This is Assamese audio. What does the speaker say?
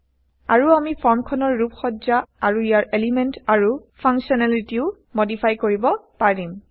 আৰু আমি ফৰ্মখনৰ ৰূপ সজ্জা আৰু160ইয়াৰ এলিমেন্ট আৰু ফাংকশ্যনেলিটিও মডিফাই কৰিব পাৰিম